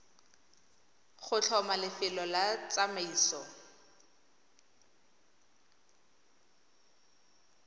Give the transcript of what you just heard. go tlhoma lefelo la tsamaiso